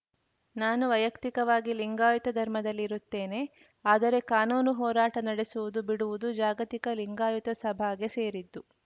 ನಾನು ವೈಯಕ್ತಿಕವಾಗಿ ಲಿಂಗಾಯತ ಧರ್ಮದಲ್ಲಿ ಇರುತ್ತೇನೆ ಆದರೆ ಕಾನೂನು ಹೋರಾಟ ನಡೆಸುವುದು ಬಿಡುವುದು ಜಾಗತಿಕ ಲಿಂಗಾಯತ ಸಭಾಗೆ ಸೇರಿದ್ದು